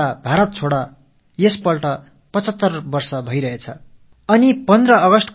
இந்தியாவை விட்டு வெளியேறு பாரதத்தை விட்டு வெளியேறு என்ற இந்த இயக்கம் தொடங்கி 75 ஆண்டுகள் நிறைவடைந்திருக்கின்றன